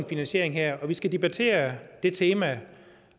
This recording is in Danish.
finansiering her og vi skal debattere det tema